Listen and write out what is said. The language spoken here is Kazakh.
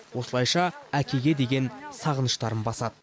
осылайша әкеге деген сағыныштарын басады